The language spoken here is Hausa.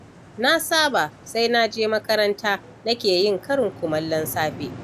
Na saba sai naje makaranta nake yin karin kumallon safe.